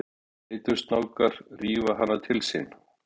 Eitursnákar rífa hana til sín.